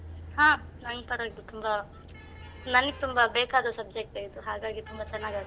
ಹಾ, ನಂಗ್ ಪರ್ವಾಗಿಲ್ಲ ತುಂಬ ನಂಗ್ ತುಂಬಾ ಬೇಕಾದ subject ಏ ಇದು, ಹಾಗಾಗಿ ತುಂಬ ಚೆನ್ನಾಗಾಗ್ತದೆ .